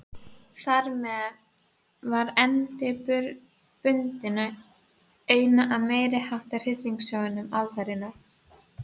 Þarmeð var endi bundinn á eina af meiriháttar hryllingssögum aldarinnar.